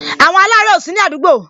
Àwọn alare ó sini àdúgbò